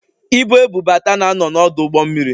Ibu ebubata na ano n'ọdụ ụgbọ mmiri